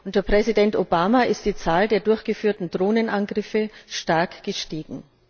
Unter Präsident Obama ist die Zahl der durchgeführten Drohnenangriffe stark gestiegen.